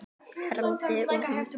hermdi hún.